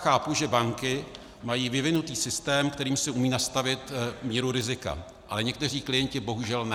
Chápu, že banky mají vyvinutý systém, kterým si umějí nastavit míru rizika, ale někteří klienti bohužel ne.